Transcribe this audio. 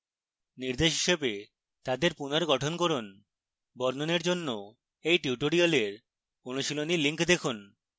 নির্দেশ হিসাবে তাদের পুনর্গঠন করুন